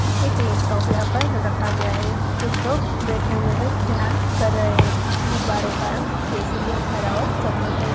एक लेपटोप यहाँ पर रखा गया है कुछ लोग बैठा हुए हैं ध्यान कर रहे हैं गुबारों का रंग केसरिया हरा और सफ़ेद हैं।